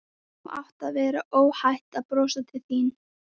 Nú átti að vera óhætt að brosa til mín.